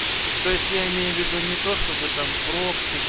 то есть я имею в виду не то чтобы там прокси